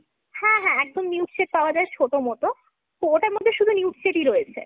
হ্যাঁ হ্যাঁ। একদম nude shade পাওয়া যায় ছোট মতো। ওটার মধ্যে শুধু nude shade ই রয়েছে।